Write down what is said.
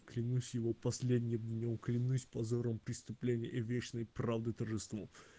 клянусь его последним днём клянусь позором преступления и вечной правды торжеством